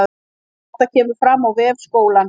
Þetta kemur fram á vef skólans